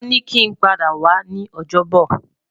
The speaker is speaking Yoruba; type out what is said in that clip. Won ni ki n pada wa ni Ojobo